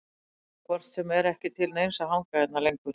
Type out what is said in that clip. Það var hvort sem er ekki til neins að hanga hérna lengur.